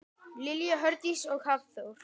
Lilja Hjördís og Hafþór.